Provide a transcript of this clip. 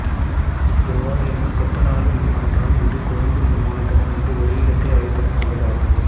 எவ்வாறு எனில் கட்டுநாயக்க விமானத்தளம் இன்று கொழும்பு விமானத்தளம் என்றும் ஒரே இடத்தை அழைப்பது போன்றாகும்